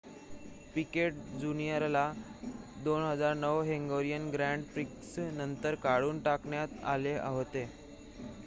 पीकेट जूनियरला 2009 Hungarian grand prix नंतर काढून टाकण्यात आले होते